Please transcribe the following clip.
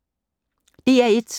DR1